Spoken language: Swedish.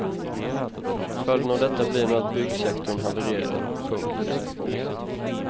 Följden av detta blir nu att byggsektorn havererar. punkt